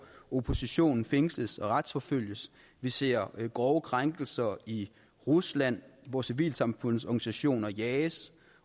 oppositionen fængsles og retsforfølges vi ser grove krænkelser i rusland hvor civilsamfundets organisationer jages